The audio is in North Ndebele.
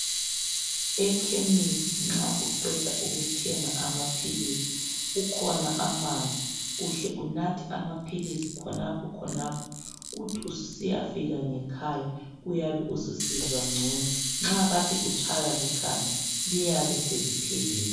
Ekhemisi nxa uqeda ukuthenga amaphilisi kukhona amanzi. Uhle unathe amaphilisi khonapho khonapho. Uthi usiyafika ngekhaya uyabe ususizwa ngcono. Nxa kade utshaywa likhanda liyabe seliphelile.